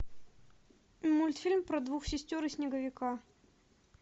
мультфильм про двух сестер и снеговика